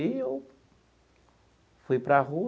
E eu fui para a rua.